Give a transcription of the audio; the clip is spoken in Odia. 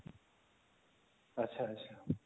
ଆଛା ଆଛା